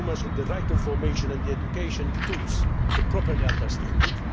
consumers with the right information and the educational tools to properly understand